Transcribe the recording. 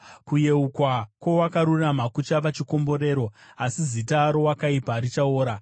Kuyeukwa kwowakarurama kuchava chikomborero, asi zita rowakaipa richaora.